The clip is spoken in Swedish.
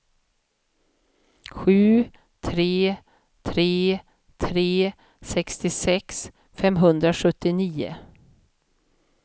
sju tre tre tre sextiosex femhundrasjuttionio